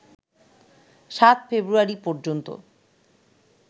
৭ ফেব্রুয়ারি পর্যন্ত